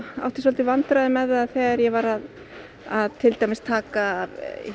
í vandræðum með það þegar ég var að að til dæmis að taka